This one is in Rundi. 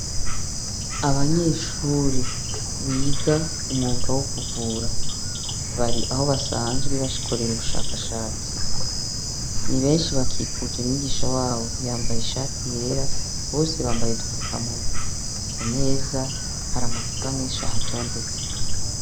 Abanyeshuri biga umwuga wo kuvura .Bari aho basanzwe bakorera ubushakashatsi . Ni benshi bakikuje umwigisha wabo yambaye ishati yera, Bose mbaye udufukamunwa. Ku meza ,hari amacupa menshi ahatondetse .